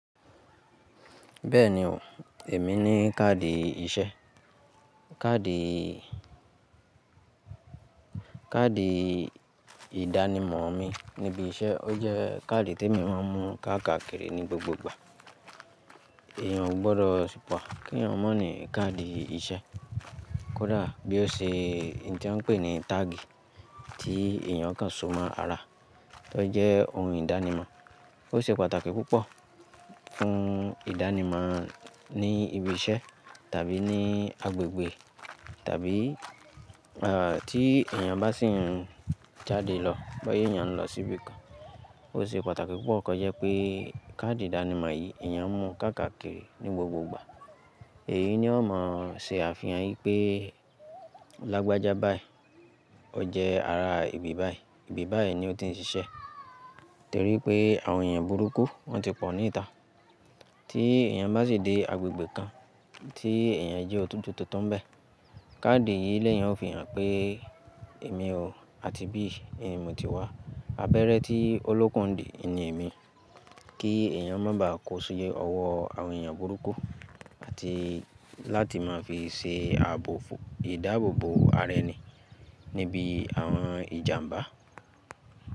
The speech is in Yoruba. Bẹ́ẹ̀ni o, èmi ní káàdì iṣẹ́. Káàdì, káàdì ìdánimọ̀ mi níbi iṣẹ́, ó jẹ́ káàdì tí èmi máa ń mú káàkiri ní gbogbo igbà. Èèyàn ò gbọdọ̀ sì pọ̀ kí èèyàn mọ̀ ní káàdì iṣẹ́ kódà bí ó ṣe, ohun tí wọ́n ń pè ní táàgì tí èèyàn kan so mọ́ ara, tó jẹ́ ohun ìdánimọ̀. Ó ṣe pàtàkì púpọ̀ fún ìdánimọ̀ ní ibi iṣẹ́ tàbí ní agbègbè tàbí, eh, tí èèyàn bá sì ń jáde lọ, boya èèyàn lọ sí ibi kan. Ó ṣe pàtàkì púpọ̀ kí ó jẹ́ pé káàdì ìdánimọ̀ yìí èèyàn mú káàkiri ní gbogbo igbà. Èyi ni ó máa ṣe àfihàn wipé lagbájá báyìí, ó jẹ́ ara ibi báyìí, ibi báyìí ni ó ti ń ṣiṣẹ́. Torí pé àwọn èèyàn burúkú wọ́n ti pọ̀ ní ìta. Tí èèyàn bá sì dé agbègbè kan tí èèyàn jẹ́ ojutu tuntun bẹ́ẹ̀, káàdì yìí léeyàn ó fi hàn pé èmi o, àti bí èmi ti wá, abẹ́rẹ́ tí o lókùn ndì ni èmi. Kí èèyàn má ba à kó si ọwọ́ àwọn èèyàn burúkú àti láti máa fi ṣe ààbò, ìdábòbò ara ẹni níbi àwọn ìjàmbá.